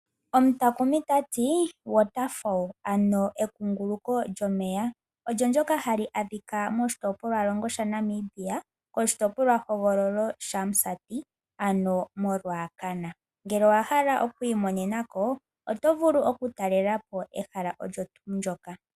Omutakumi tati water fall ano ekunguluko lyomeya, olyo ndyoka hali adhika moshitopolwalongo shaNamibia, koshitopolwahogololo shaMusati ano moRuacana. Ngele owahala okwiimonena ko otovulu okutalela po ehala olyo tuu ndyoka.